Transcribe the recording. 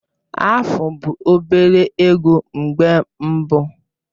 Afu bụ obere ego mgbe mbụ.